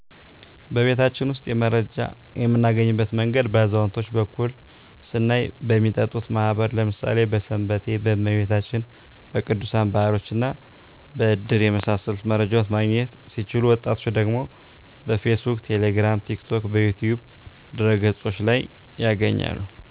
በቤታችን ውስጥ መረጃ የምናገኝበት መንገድ በአዛውንቶች በኩል ስናይ በሚጠጡት ማህበር ለምሣሌ በስንበቴ፣ በመቤታችን፣ በቅዱሣን በዓሎችና በድር በመሣሰሉት መረጃዎችን ማግኘት ሲችሉ ወጣቶች ደግሞ በፌስቡክ፣ ቴሌግራም፣ ቲክቶክ፣ በዩትዩብ ድህረ ገፆች ላይ ያገኛሉ።